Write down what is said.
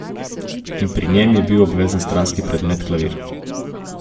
In pri njem je bil obvezni stranski predmet klavir.